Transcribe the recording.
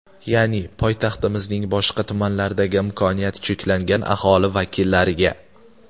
Ya’ni poytaxtimizning boshqa tumanlaridagi imkoniyati cheklangan aholi vakillariga.